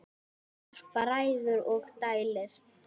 Harpa ræður og dælir.